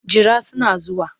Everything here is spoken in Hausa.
Jira suna zuwa.